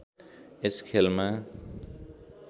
यस खेलमा